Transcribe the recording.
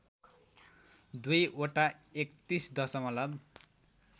दुईवटा ३१ दशमलव